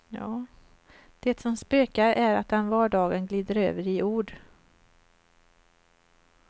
Det som spökar är att den vardagen glider över i ord.